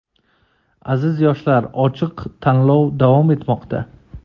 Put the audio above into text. Aziz yoshlar ochiq tanlov davom etmoqda.